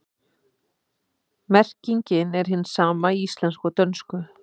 Merkingin er hin sama í íslensku og dönsku.